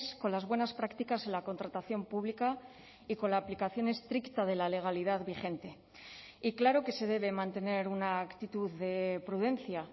con las buenas prácticas en la contratación pública y con la aplicación estricta de la legalidad vigente y claro que se debe mantener una actitud de prudencia